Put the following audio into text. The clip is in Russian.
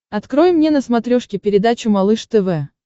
открой мне на смотрешке передачу малыш тв